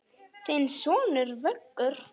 Þinn sonur, Vöggur.